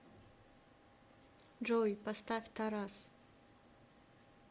джой поставь тарас